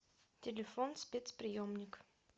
телефон спецприемник